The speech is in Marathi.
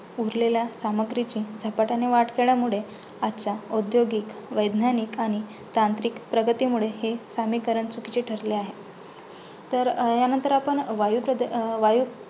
उरलेल्या सामाग्रीचे झपाट्याने वाढ केल्यामुळे आजच्या औद्योगिक, वैद्यानिक आणि तांत्रिक प्रगतीमुळे हे समीकरण चुकीचे ठरले आहे. तर अं ह्यानंतर आपण अं वायुप्रद वायू अं